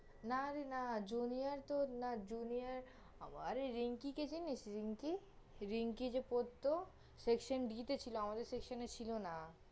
না রে না, junior তহ না, junior আরে রিঙ্কিকে চিনিস? রিঙ্কি, রিঙ্কি যে পড়ত, section B তে ছিল, আমাদের section এ ছিল না